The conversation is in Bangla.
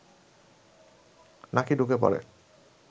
নাকি ঢুকে পড়ে